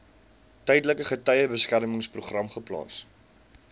tydelike getuiebeskermingsprogram geplaas